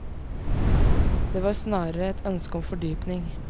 Det var snarere et ønske om fordypning.